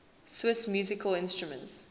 swiss musical instruments